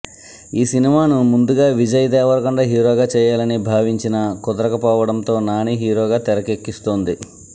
ఈ సినిమాను ముందుగా విజయ్ దేవరకొండ హీరోగా చేయాలని భావించినా కుదరకపోవటంతో నాని హీరోగా తెరకెక్కిస్తోంది